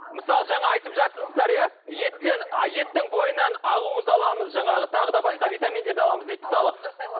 мысалы жаңа айтып жатырсыздар иә еттен а еттің бойынан ақуыз аламыз жаңағы тағы да басқа витаминдерді аламыз дейді мысалы